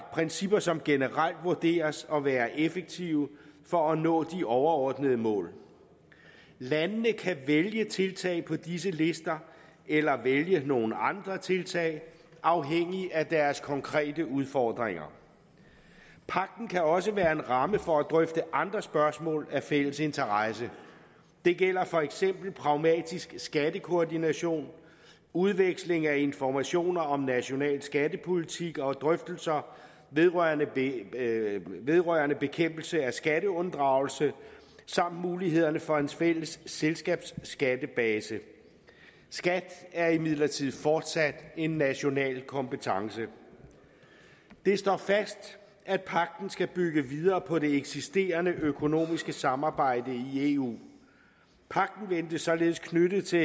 principper som generelt vurderes at være effektive for at nå de overordnede mål landene kan vælge tiltag på disse lister eller vælge nogle andre tiltag afhængig af deres konkrete udfordringer pagten kan også være en ramme for at drøfte andre spørgsmål af fælles interesse det gælder for eksempel pragmatisk skattekoordination udveksling af informationer om national skattepolitik og drøftelser vedrørende vedrørende bekæmpelse af skatteunddragelse samt mulighederne for en fælles selskabsskattebase skat er imidlertid fortsat en national kompetence det står fast at pagten skal bygge videre på det eksisterende økonomiske samarbejde i eu pagten ventes således knyttet til